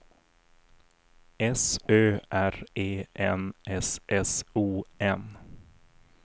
S Ö R E N S S O N